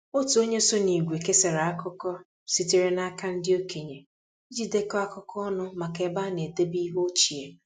Otu onye so n’ìgwè kesara akụkọ sitere n’aka ndị okenye iji dekọọ akụkọ ọnụ maka ebe a na-edebe ihe ochie